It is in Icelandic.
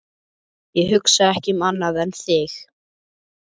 Ég hugsa ekki um annað en þig.